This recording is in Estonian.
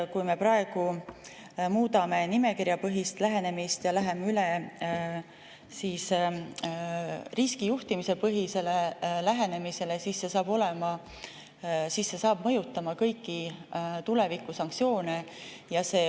Kui me praegu muudame nimekirjapõhist lähenemist ja läheme üle riskijuhtimispõhisele lähenemisele, siis see mõjutab kõiki tulevikusanktsioone.